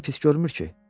Yenə pis görmür ki?